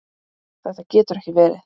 Þetta getur ekki verið.